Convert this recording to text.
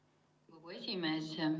Lugupeetud Riigikogu esimees!